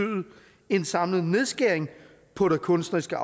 en samlet nedskæring på det kunstneriske